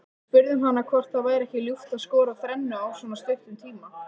Við spurðum hana hvort það væri ekki ljúft að skora þrennu á svona stuttum tíma.